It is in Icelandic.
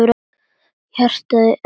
Hjartað í Erni tók kipp.